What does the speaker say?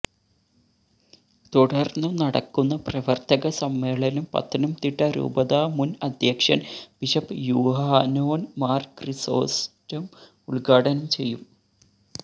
തുടര്ന്നു നടക്കുന്ന പ്രവര്ത്തക സമ്മേളനം പത്തനംതിട്ട രൂപതാ മുന് അദ്ധ്യക്ഷന് ബിഷപ്പ് യൂഹാനോന് മാര് ക്രിസോസ്റ്റം ഉദ്ഘാടനം ചെയ്യും